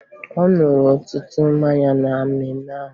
Ọ ṅụrụ ọtụtụ mmanya na mmemme ahụ